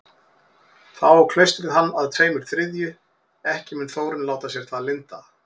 Þá á klaustrið hann að tveimur þriðju, ekki mun Þórunn láta sér það lynda.